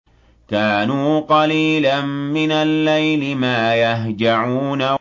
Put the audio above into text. كَانُوا قَلِيلًا مِّنَ اللَّيْلِ مَا يَهْجَعُونَ